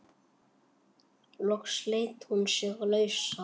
Loks sleit hún sig lausa.